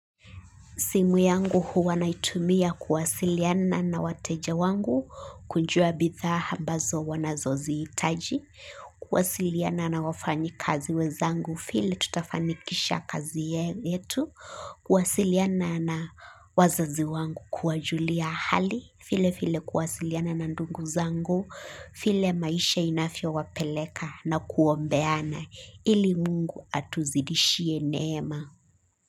Simu yangu huwa naitumia kuwasiliana na wateja wangu kujua bidhaa ambazo wanazozihitaji. Kuwasiliana na wafanyi kazi wenzangu vile tutafanikisha kazi yetu. Kuwasiliana na wazazi wangu kuwajulia hali. Vile vile kuwasiliana na ndungu zangu. Vile maisha inavyo wapeleka na kuombeana ili mungu atuzidishie neema.